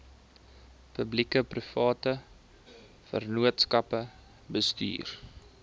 publiekeprivate vennootskappe bestuur